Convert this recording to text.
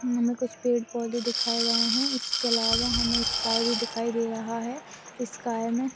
हमे कुछ पेड़ पौधे दिखाये गए है इसके अलावा हमे स्काइ भी दिखाई दे रहा हैं। इस स्काइ मे--